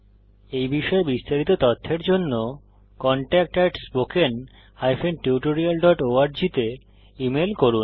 এই বিষয়ে বিস্তারিত তথ্যের জন্য কনট্যাক্ট spoken tutorialorg তে ইমেল করুন